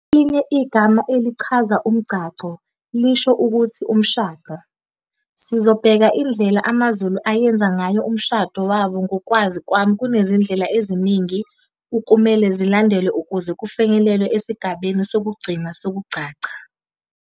Elinye igama elichaza umgcagco lisho ukuthi umshado. Sizobheka indlela ama Zulu ayenza ngawo umshado wabo ngokwazi kwami kunezindlela eziningi ukumele zilandelwe ukuze kufinyelelwe esigabeni sokugcina sokugcagca.